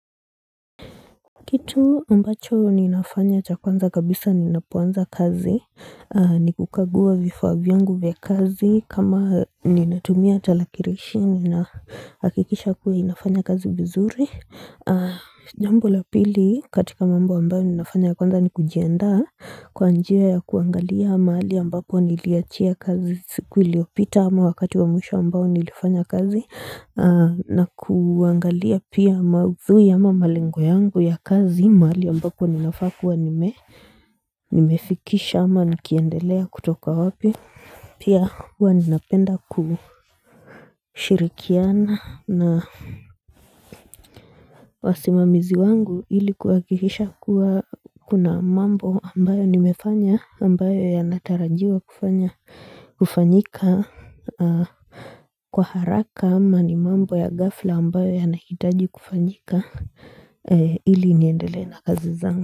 Kitu ambacho ninafanya cha kwanza kabisa ninapoanza kazi ni kukaguwa vifa vyangu vya kazi kama ninatumia talakirishi nahakikisha kuwa inafanya kazi vizuri jambo la pili katika mambo ambayo ninafanya ya kwanza ni kujienda kwa njia ya kuangalia mali ambapo niliachia kazi siku iliopita ama wakati wa mwisho ambayo nilifanya kazi na kuangalia pia maudhui ama malengo yangu ya kazi mahali ambapo ninafa kuwa nimefikisha ama nikiendelea kutoka wapi Pia huwa ninapenda kushirikiana na wasimamizi wangu ilikuhakikisha kuwa kuna mambo ambayo nimefanya ambayo yanatarajiwa kufanyika Kwa haraka ama ni mambo ya gafla ambayo yanaitaji kufanyika ili niendele na kazi zangu.